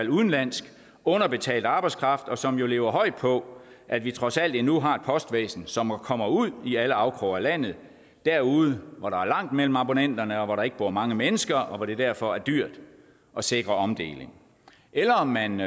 af udenlandsk underbetalt arbejdskraft og som lever højt på at vi trods alt endnu har et postvæsen som kommer ud i alle afkroge af landet derude hvor der er langt mellem abonnenterne og hvor der ikke bor mange mennesker og hvor det derfor er dyrt at sikre omdeling eller om man